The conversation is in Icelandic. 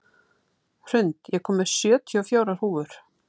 Hrund, ég kom með sjötíu og fjórar húfur!